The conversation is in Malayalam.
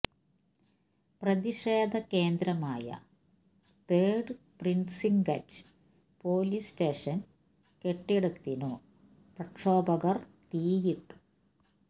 പ്രതിഷേധ കേന്ദ്രമായ തേഡ് പ്രീസിൻക്റ്റ് പൊലീസ് സ്റ്റേഷൻ കെട്ടിടത്തിനു പ്രക്ഷോഭകർ തീയിട്ടു